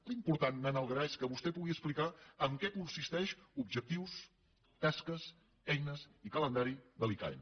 l’important anant al gra és que vostè pugui explicar en què consisteix objectius tasques eines i calendari de l’icaen